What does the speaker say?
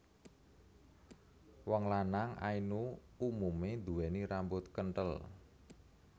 Wong lanang Ainu umume nduwèni rambut kentel